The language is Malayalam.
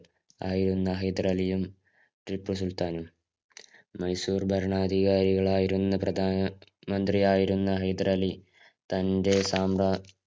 ആയിരുന്ന ഹൈദരാലിയും, ടിപ്പു സുല്‍ത്താനും. മൈസൂര്‍ ഭരണാധികാരികളായിരുന്ന പ്രധാന മന്ത്രിയായിരുന്ന ഹൈദരാലി തന്‍റെ സാമ്രാ